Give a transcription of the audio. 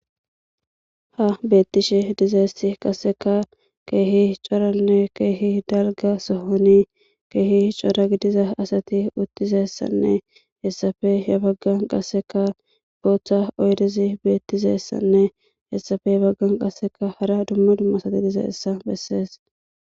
ha beettishe dizeessi qasseka keehi coranne keehi dalga sohoni keehi cora gidiza asati uttizessanne hessafe he baggan qasseka booththa oydezi beettizessanne hessafe baggan qasseka hara dumma dumma sati diza hessa bessees